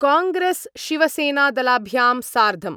कांग्रेस्शिवसेनादलाभ्यां सार्धं